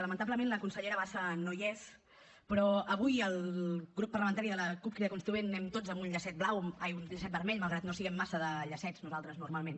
lamentablement la consellera bassa no hi és però avui el grup parlamentari de la cup crida constituent anem tots amb un llacet vermell malgrat que no siguem massa de llacets nosaltres normalment